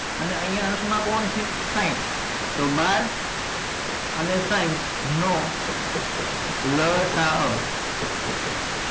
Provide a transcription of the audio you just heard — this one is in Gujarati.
અને અહિયાં અંશ માં કોણ છે સાહીંઠ તો બાર અને સાહીંઠ નો લસા અ